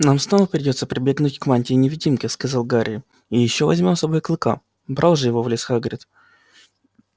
нам снова придётся прибегнуть к мантии-невидимке сказал гарри и ещё возьмём с собой клыка брал же его в лес хагрид